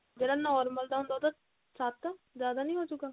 ਆਪਣਾ ਜਿਹੜਾ normal ਦਾ ਹੁੰਦਾ ਉਹ ਤਾਂ ਸੱਤ ਜ਼ਿਆਦਾ ਨਹੀਂ ਹੋਜੂਗਾ